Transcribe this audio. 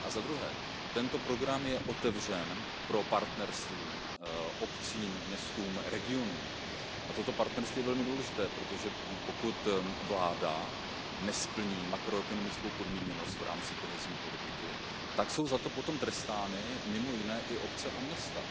Za druhé, tento program je otevřen pro partnerství obcím, městům a regionům a toto partnerství je velmi důležité, protože pokud vláda nesplní makroekonomickou podmíněnost v rámci kohezní politiky, tak jsou za to potom trestány mimo jiné i obce a města.